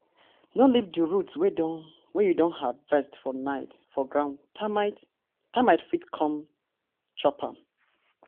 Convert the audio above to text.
no leave di roots wey you don harvest for night for ground termite termite fit come chop am.